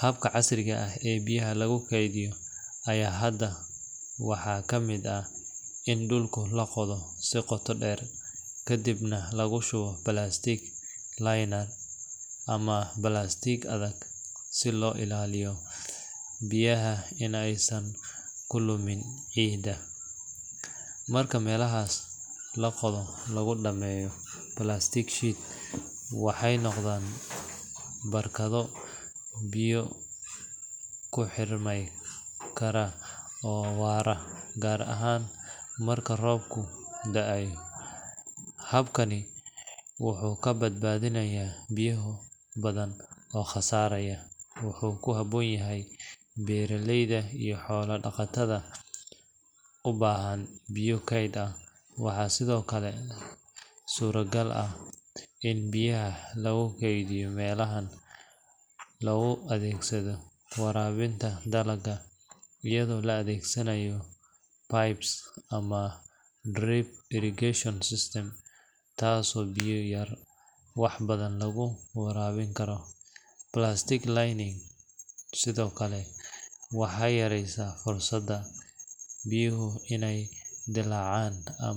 habka casriga eh ee biyaha lagu kedhiyo aya hada waxaa kamiid ah in dulku laqotho si qota deer kadiib nah lagu shuwo plastic line ah ama plastic adhag si lo ilaliyo biyaha si ee kulumin cida marka meelaha lagu dameyo plastic sheet wexee noqdan biyo ku xirmi kara gar ahan marka robku daay, habkani wuxuu ka badbadinaya boyoho badan oo qasaraya, wuxuu ku habon yahay beera leyda iyo xola daqatadha u bahan biyo ked ah, waxaa sithokale suragal ah in biyaha lagu kedhiyo melahan, in lagu adhegsatho warawinta dalaga biyaha iyadho la adhegsanayo pipes ama drip irrigation system tas oo biya yar wax badan lagu warabini karo plastic lineing sithokale waxaa yareysa fursada biyoho in ee dilacan.